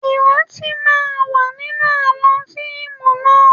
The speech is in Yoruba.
Ìrántí máa wà nínú àwọn fíìmù náà